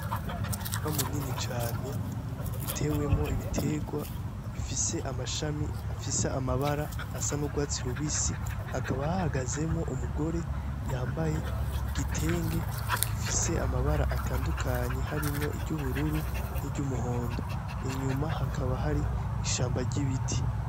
Mu murima munini cane utewemwo ibiterwa bifise amashami afise amabara asa n'urwatsi rubisi hakaba hagazemwo umugore yambaye igitenge gifise amabara atandukanyi harimwo iry'ubururu niry' umuhondo inyuma hakaba har'ishamba ry'ibiti.